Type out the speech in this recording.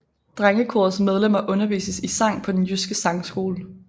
Drengekorets medlemmer undervises i sang på Den Jyske Sangskole